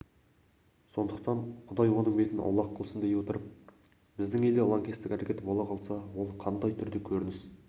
сондықтан құдай оның бетін аулақ қылсын дей отырып біздің елде лаңкестік әрекет бола қалса ол қандай түрде көрініс